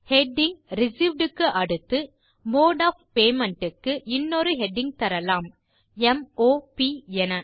heading received க்கு அடுத்து mode of payment க்கு இன்னொரு ஹெடிங் தரலாம் m o ப் என